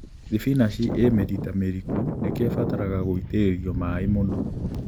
Thibinachi ĩ mĩrita mĩriku nĩkĩo ĩbataraga gũitĩrĩrio maĩĩ mũno